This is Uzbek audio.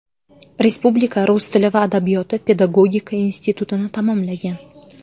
Respublika rus tili va adabiyoti pedagogika institutini tamomlagan.